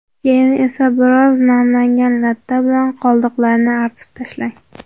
Keyin esa biroz namlangan latta bilan qoldiqlarini artib tashlang.